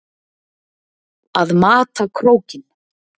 Að mata krókinn